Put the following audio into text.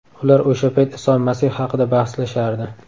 Ular o‘sha payt Iso Masih haqida bahslashardi.